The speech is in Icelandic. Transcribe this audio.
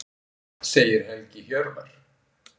Segir Helgi Hjörvar.